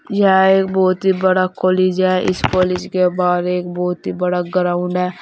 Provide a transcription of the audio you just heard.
यह एक बहुत ही बड़ा कॉलेज है इस कॉलेज के बाहर एक बहुत ही बड़ा ग्राउंड है।